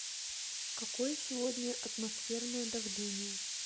какое сегодня атмосферное давление